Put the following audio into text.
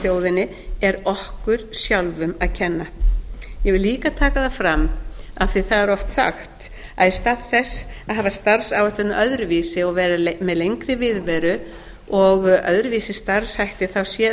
þjóðinni er okkur sjálfum að kenna ég vil líka taka það fram af því að það er oft sagt að í stað þess að hafa starfsáætlunina öðruvísi og vera með lengri viðveru og öðruvísi starfshætti sé